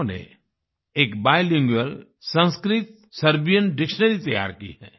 इन्होंने एक bilingual Sanskrit Serbian dictionary तैयार की है